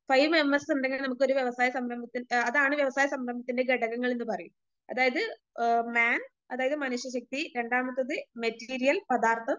Five M S ഇണ്ടെങ്കിൽ നമുക്കൊരു വ്യവസായ സംരംഭത്തിന് ആ അതാണ് വ്യവസായ സംരംഭത്തിന്റെ ഘടകങ്ങൾ എന്നു പറയും. അതായത് ഏ മാൻ, അതായത് മനുഷ്യശക്തി രണ്ടാമത്തേത് മെറ്റീരിയൽ പദാർത്ഥം